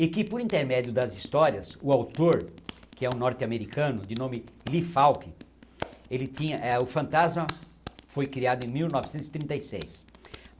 E que, por intermédio das histórias, o autor, que é um norte-americano de nome Lee Falk, ele tinha eh o Fantasma foi criado em mil novecentos e trinta e seis.